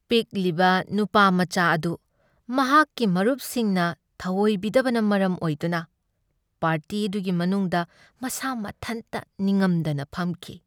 ꯄꯤꯛꯂꯤꯕ ꯅꯨꯄꯥꯃꯆꯥ ꯑꯗꯨ ꯃꯍꯥꯛꯀꯤ ꯃꯔꯨꯞꯁꯤꯡꯅ ꯊꯑꯣꯏꯕꯤꯗꯕꯅ ꯃꯔꯝ ꯑꯣꯏꯗꯨꯅ ꯄꯥꯔꯇꯤ ꯑꯗꯨꯒꯤ ꯃꯅꯨꯡꯗ ꯃꯁꯥ ꯃꯊꯟꯇ ꯅꯤꯡꯉꯝꯗꯅ ꯐꯝꯈꯤ꯫